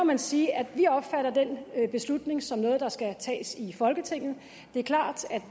man sige at vi opfatter den beslutning som noget der skal tages i folketinget det er klart at